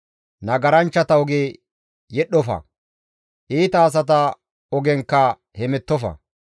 Nagaranchchata oge yedhdhofa; iita asata ogenkka hemettofa.